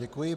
Děkuji.